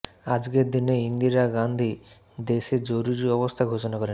আজকের দিনেই ইন্দিরা গাঁধী দেশে জরুরি অবস্থা ঘোষণা করেন